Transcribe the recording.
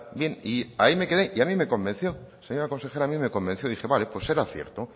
bien ahí me quede y a mí convenció señora consejera a mí me convenció dije pues vale pues será cierto